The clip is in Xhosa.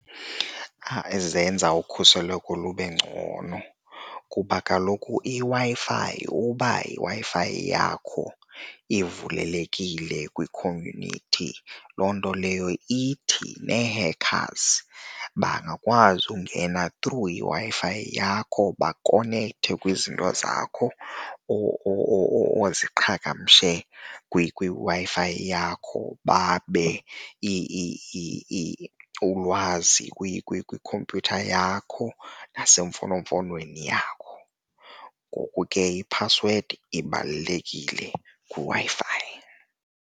Zenza ukhuseleko lube ngcono kuba kaloku iWi-Fi, uba yiWi-Fi yakho ivulelekile kwi-community loo nto leyo ithi nee-hackers bangakwazi ukungena through iWi-Fi yakho bakonekthe kwizinto zakho oziqhagamshe kwiWi-Fi yakho babe ulwazi kwikhompyutha yakho nasemfonomfonweni yakho. Ngoku ke iphasiwedi ibalulekile kwiWi-Fi.